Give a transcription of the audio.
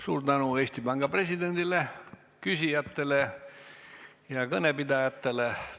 Suur tänu Eesti Panga presidendile, küsijatele ja kõnepidajatele.